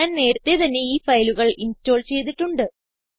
ഞാൻ നേരത്തേ തന്നെ ഈ ഫയലുകൾ ഇൻസ്റ്റോൾ ചെയ്തിട്ടുണ്ട്